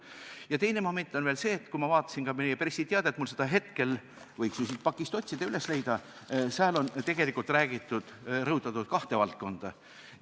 Ja teine moment on veel see, et kui vaadata meie pressiteadet – mul seda hetkel käepärast ei ole, võiks ju siit pakist üles otsida –, siis seal on tegelikult rõhutatud kahte valdkonda.